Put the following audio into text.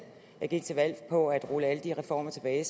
gik til valg på at rulle alle de reformer tilbage